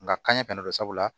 Nka kaɲɛ fɛnɛ don sabula